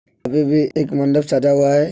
अभी भी एक मंडप सजा हुआ है।